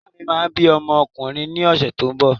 Ìyá mi máa bí ọmọ ọkùnrin ní ọ̀sẹ̀ tó ń bọ̀.